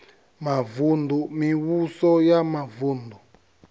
mavun ḓu mivhuso ya mavuṋdu